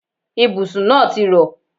Ibùsùn náà ti rọ̀.